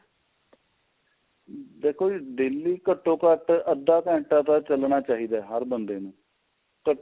ਦੇਖੋ ਜੀ daily ਘਟੋ ਘੱਟ ਅੱਧਾ ਘੰਟਾ ਤਾਂ ਚੱਲਣਾ ਚਾਹੀਦਾ ਹਰ ਬੰਦੇ ਨੂੰ ਘਟੋ